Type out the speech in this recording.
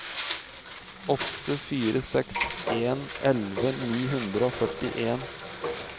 åtte fire seks en elleve ni hundre og førtien